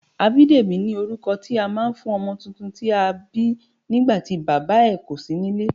Abidemi ni orúkọ tí a máa ń fún ọmọ tuntun tí a bí nígbàtí Bàbá ẹ̀ kò sí nílé.